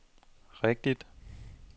rigtigt